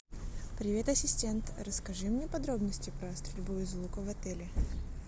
привет ассистент расскажи мне подробности про стрельбу из лука в отеле